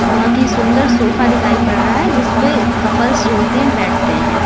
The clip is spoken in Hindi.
बहोत ही सुंदर सोफा दिखाई पड़ रहा है जिसपे कपल्स जो होते हैं बैठते हैं।